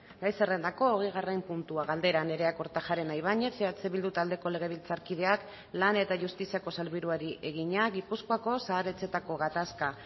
gai zerrendako hogeigarren puntua galdera nerea kortajarena ibañez eh bildu taldeko legebiltzarkideak lan eta justiziako sailburuari egina gipuzkoako zahar etxeetako gatazka